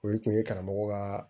O ye kun ye karamɔgɔ ka